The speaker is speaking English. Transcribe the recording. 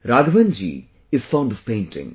Raghavan ji is fond of painting